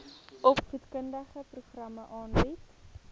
opvoedkundige programme aanbied